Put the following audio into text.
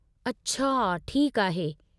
अछा! ठीकु आहे।